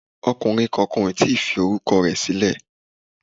Ọkùnrin kankan ò tíì fi orúkọ sílẹ̀